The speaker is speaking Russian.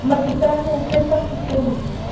магистральная шесть автосервис